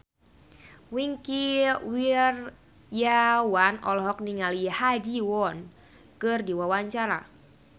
Wingky Wiryawan olohok ningali Ha Ji Won keur diwawancara